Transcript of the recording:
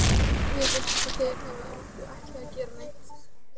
Mér finnst eins og þeir hafi aldrei ætlað að gera neitt.